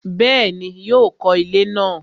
Bẹ́ẹ̀ni, yóò kọ ilẹ́ náà